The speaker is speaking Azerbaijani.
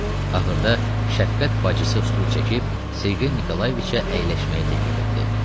Ağırda şəfqət bacısı stul çəkib Sergey Nikolayeviçə əyləşməyi təklif etdi.